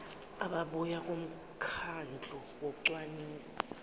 ababuya kumkhandlu wocwaningo